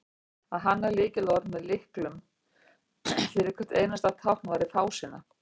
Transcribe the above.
að hanna lyklaborð með lyklum fyrir hvert einasta tákn væri fásinna